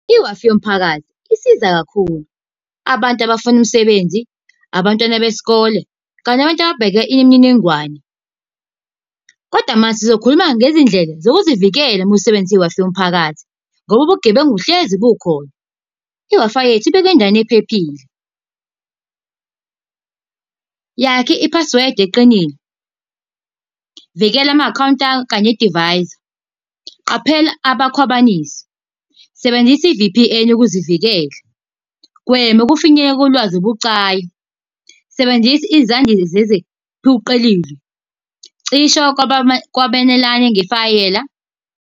I-Wi-Fi yomphakathi isiza kakhulu. Abantu abafuna umsebenzi, abantwana besikole, kanye nabantu ababheke imininingwane. Kodwa manje sizokhuluma ngezindlela sokuzivikela uma usebenzisa i-Wi-Fi yomphakathi, ngoba ubugebengu hlezi bukhona. I-Wi-Fi yethu, ibekwe endaweni ephephile. Yakha i-password eqinile. Vikela ama-akhawunti akho kanye nedivayisi. Qaphela abakhwabanisi. Sebenzisa i-V_P_N ukuzivikela. Gwema ukufinyelela kolwazi olubucayi, sebenzisa , cisha kwakwabelane ngefayela.